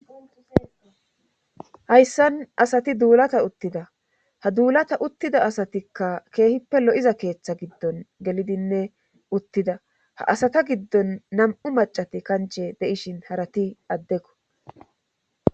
hayssan asati duulata uttida ha duulata uttida asatikka keehippe lo7iza keeththa giddon gelidinne uttida ha asata giddon nam7u macati kanche de7ishin harati addekko